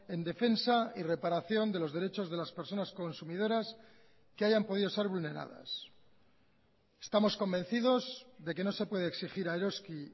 en defensa y reparación de los derechos de las personas consumidoras que hayan podido ser vulneradas estamos convencidos de que no se puede exigir a eroski